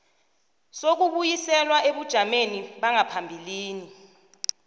sokubuyiselwa ebujameni bangaphambilini